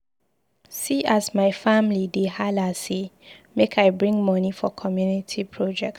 See as my family dey hala sey make I bring moni for community project.